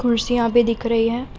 कुर्सियां भी दिख रही हैं।